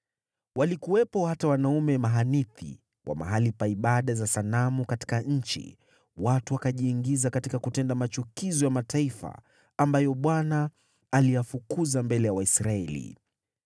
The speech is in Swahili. Walikuwepo hata wanaume mahanithi wa mahali pa ibada za sanamu katika nchi; watu wakajiingiza katika kutenda machukizo ya mataifa ambayo Bwana aliyafukuza mbele ya Waisraeli.